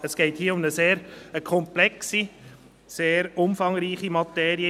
Es geht um eine sehr komplexe und umfangreiche Materie.